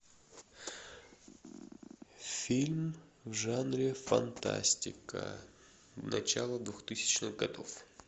фильм в жанре фантастика начало двухтысячных годов